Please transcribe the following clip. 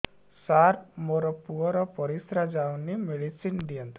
ସାର ମୋର ପୁଅର ପରିସ୍ରା ଯାଉନି ମେଡିସିନ ଦିଅନ୍ତୁ